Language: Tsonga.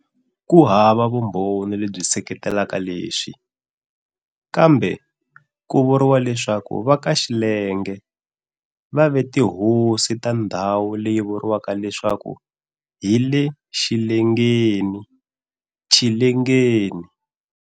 Ku hava vumbhoni lebyi seketelaka leswi, kambe kuvuriwa leswaku vakaxillenge vave tihosi ta ndhawu leyi vuriwaka leswaku hile-Xillengeni, "Chillengeni"